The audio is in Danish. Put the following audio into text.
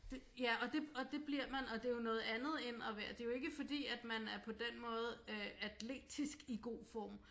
Det ja og det og det bliver man og det er jo noget andet end at være det er jo ikke fordi at man er på den måde øh atletisk i god form